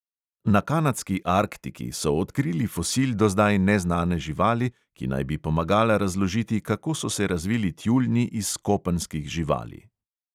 Na kanadski arktiki so odkrili fosil do zdaj neznane živali, ki naj bi pomagala razložiti, kako so se razvili tjuljni iz kopenskih živali.